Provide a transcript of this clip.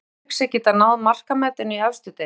Telur Patrick sig geta náð markametinu í efstu deild?